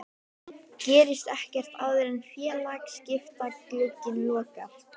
Gerist ekkert áður en félagaskiptaglugginn lokar?